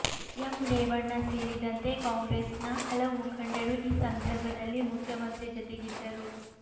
M Revanna ಸೇರಿದಂತೆ ಕಾಂಗ್ರೆಸ್ನ ಹಲವು ಮುಖಂಡರು ಈ ಸಂದರ್ಭದಲ್ಲಿ ಮುಖ್ಯಮಂತ್ರಿ ಜೊತೆಗಿದ್ದರು